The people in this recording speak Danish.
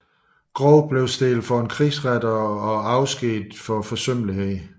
Groth blev stillet for en krigsret og afskediget for forsømmelighed